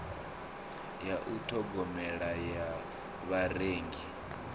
ya u ṱhogomela ya vharengi